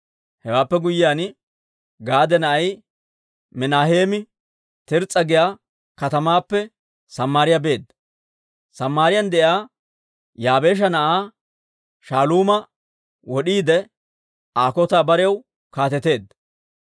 Hewaappe guyyiyaan, Gaade na'ay Minaaheemi Tirs's'a giyaa katamaappe Samaariyaa beedda. Samaariyaan de'iyaa Yaabeesha na'aa Shaaluuma wod'iide Aa kotan barew kaateteedda.